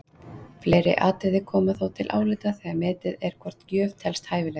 Fleiri atriði koma þó til álita þegar metið er hvort gjöf telst hæfileg.